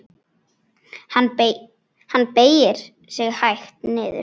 Hann beygir sig hægt niður.